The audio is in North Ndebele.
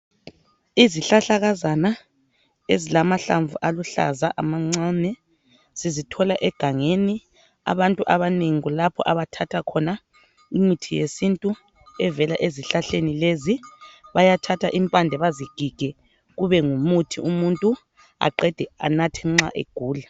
Izihlahlakazana ezilamahlamvu aluhlaza amancane sizithola egangeni abantu abanengi kulapho abathatha khona imithi yesintu evela ezihlahleni lezi bayathatha impande bazigige kube ngumuthi umuntu aqede anathe nxa egula.